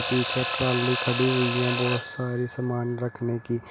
पीछे ट्राली खड़ी हुई है बहुत सारी सामान रखने की।